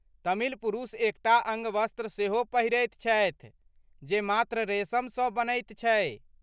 तमिल पुरूष एकटा अङ्गवस्त्र सेहो पहिरैत छथि जे मात्र रेशमसँ बनैत छै।